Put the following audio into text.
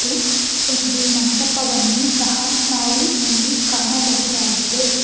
ಒಂದು ಮಂಟಪವನ್ನು ಸಹ ನಾವು ಇಲ್ಲಿ ಕಾಣಬಹುದಾಗಿದೆ.